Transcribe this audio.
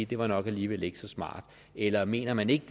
det var nok alligevel ikke så smart eller mener man ikke